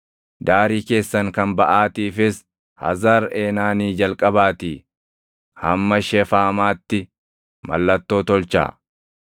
Daarii keessan kan baʼaatiifis Hazar Eenaanii jalqabaatii hamma Shefaamaatti mallattoo tolchaa.